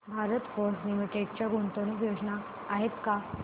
भारत फोर्ज लिमिटेड च्या गुंतवणूक योजना आहेत का